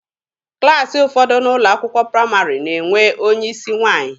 Klassị ụfọdụ n'ụlọ akwụkwọ praịmarị na-enwe onye isi nwaanyị.